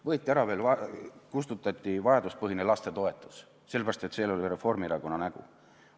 Võeti ära, kustutati vajaduspõhine lastetoetus, sellepärast, et see oli Reformierakonna nägu.